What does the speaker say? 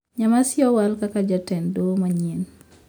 Nyamasi owal kaka jatend doho manyien